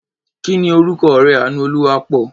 Kí ni orúkọ ọ̀rẹ́ Àánúolúwaápọ̀?